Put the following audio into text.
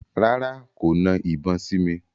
Rárá, kò na ìbọn sí mi.